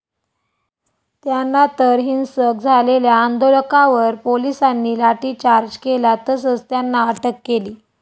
त्यांनातर हिंसक झालेल्या आंदोलकांवर पोलिसांनी लाठीचार्ज केला तसंच त्यांना अटक केली.